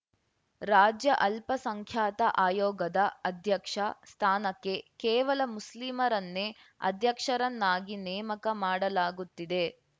ರಾಜ್ಯ ಅಲ್ಪಸಂಖ್ಯಾತ ಆಯೋಗದ ಅಧ್ಯಕ್ಷ ಸ್ಥಾನಕ್ಕೆ ಕೇವಲ ಮುಸ್ಲಿಮರನ್ನೇ ಅಧ್ಯಕ್ಷರನ್ನಾಗಿ ನೇಮಕ ಮಾಡಲಾಗುತ್ತಿದೆ